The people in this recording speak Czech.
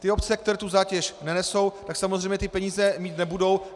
Ty obce, které tu zátěž nenesou, tak samozřejmě ty peníze mít nebudou.